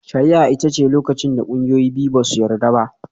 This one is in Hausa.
Shari'a ita ce lokacin da ƙungiyoyi biyu ba su yarda ba.